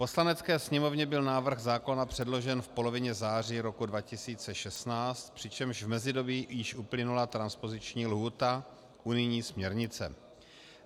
Poslanecké sněmovně byl návrh zákona předložen v polovině září roku 2016, přičemž v mezidobí již uplynula transpoziční lhůta unijní směrnice.